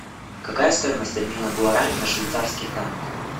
какая стоимость обмена гуарани на швейцарский франк